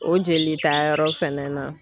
O jelitayɔrɔ fɛnɛ na